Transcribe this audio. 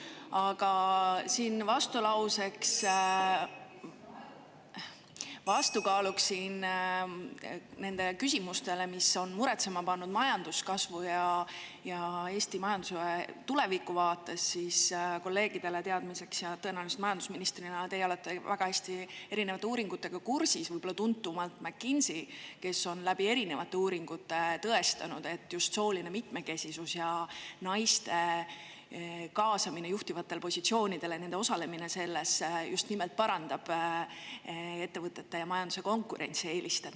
Aga siin vastukaaluks nendele küsimustele, mis on muretsema pannud majanduskasvu ja Eesti majanduse tuleviku vaates, kolleegidele teadmiseks – tõenäoliselt majandusministrina teie olete väga hästi erinevate uuringutega kursis –, et võib-olla tuntuim on McKinsey, kes on läbi erinevate uuringute tõestanud, et just sooline mitmekesisus ja naiste kaasamine juhtivatele positsioonidele, nende osalemine just nimelt parandab ettevõtete ja majanduse konkurentsieelist.